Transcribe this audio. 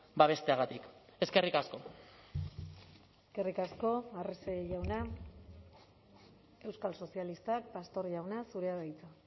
babesteagatik eskerrik asko eskerrik asko arrese jauna euskal sozialistak pastor jauna zurea da hitza